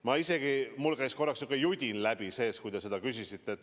Mul käis korraks seest isegi niisugune judin läbi, kui te seda küsisite.